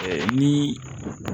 Ni